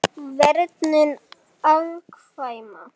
Verndun afkvæma